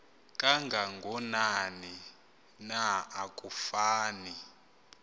kangakanani na akufani